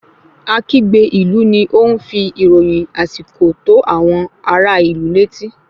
Akígbe ilu ni o n fi ìròyìn àsìkò tó àwọn ará ìlú létí